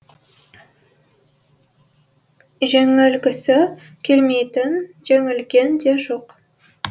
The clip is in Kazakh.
жеңілгісі келмейтін жеңілген де жоқ